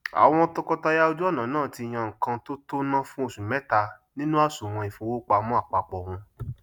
àwọn tọkọtaya ojú ọnà náà tí yá ńkan tó tó ná fún osu mẹta nínú àsùwọn ìfowópamọn àpápọ wọn